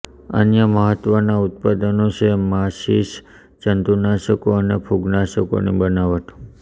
અન્ય મહત્વના ઉત્પાદનો છે માચિસ જંતુનાશકો અને ફૂગ નાશકોની બનાવટ